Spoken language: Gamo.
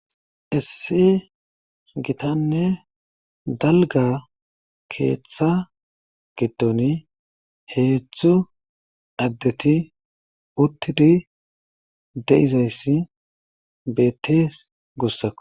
issi gitanne dalga keeththa giddon heedzdzu addeti uttidi deizayssi beettees gussakko